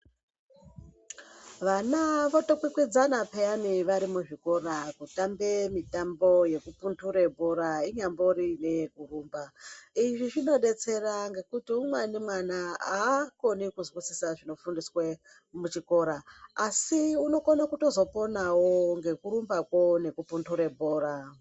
Vana votokwikwidzana pheyani vari muzvikora kutambe mitambo yekupundure bhora inyambori neyekurumba. Izvi zvinodetsera ngekuti umweni mwana haakoni kuzwa zvinofundiswe muchikora asi unokona kutozoponawo ngekurumbakwo nekupundure bhora.